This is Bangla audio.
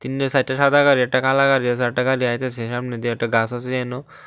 তিনটে চাইরটে সাদা গাড়ি একটা কালা গাড়ি আসে আর একটা গাড়ি আইতাসে সামনে দিয়ে একটা গাছ আসে এহানেও।